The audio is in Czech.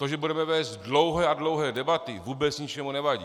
To, že budeme vést dlouhé a dlouhé debaty, vůbec ničemu nevadí.